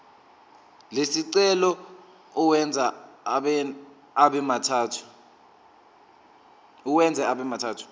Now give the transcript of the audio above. lesicelo uwenze abemathathu